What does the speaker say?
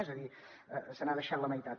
és a dir se n’ha deixat la meitat